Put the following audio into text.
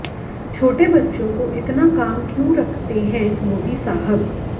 छोटे बच्चों को इतना काम क्यों रखते हैं मोदी साहब